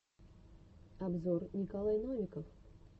обзор николай новиков